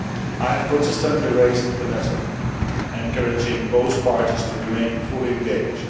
I have consistently raised the matter, encouraging both parties to remain fully engaged.